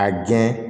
A jɛn